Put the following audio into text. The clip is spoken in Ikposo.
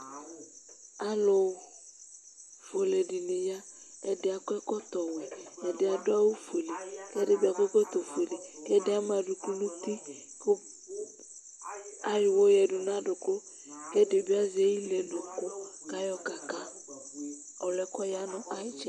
Alufuele di ya ɛdi akɔ ɛkɔtɔ wɛ ɛdi adu awu ofue ɛdi akɔ ɛkɔtɔ fuele ɛdi ama aduku nu uti ku ayɔ uhɔ yadu nu aduku ɛdibi azɛ iliɛdu ku ayɔ kaka ɔliɛ ya nu itsɛdi